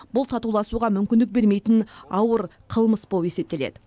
бұл татуласуға мүмкіндік бермейтін ауыр қылмыс болып есептеледі